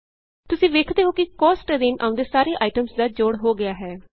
ਤੁਸੀਂ ਵੇਖਦੇ ਹੋ ਕਿ Costਅਧੀਨ ਆਉਂਦੇ ਸਾਰੇ ਆਈਟਮਸ ਦਾ ਜੋੜ ਹੋ ਗਿਆ ਹੈ